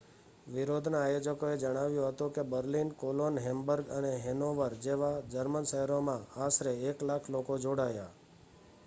વિરોધના આયોજકોએ જણાવ્યું હતું કે બર્લિન કોલોન હેમ્બર્ગ અને હેનોવર જેવા જર્મન શહેરોમાં આશરે 100,000 લોકો જોડાયા